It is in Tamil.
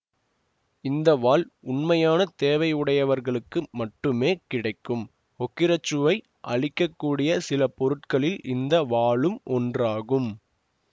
இந்த வாள் உண்மையான தேவையுடையவர்களுக்கு மட்டுமே கிடைக்கும் ஹோக்கிரச்சுவை அளிக்க கூடிய சில பொருட்களில் இந்த வாளும் ஒன்றாகும்